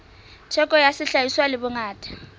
theko ya sehlahiswa le bongata